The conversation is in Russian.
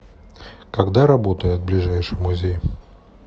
когда работает ближайший музей